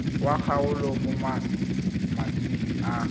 wa kgaolo mo malatsing a